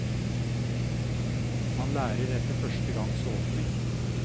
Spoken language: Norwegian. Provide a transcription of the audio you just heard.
Man lærer etter første gangs åpning.